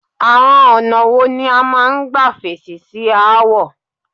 Àọn ọ̀nà wo ni o máa ń gbà fèsì sí aáwọ̀?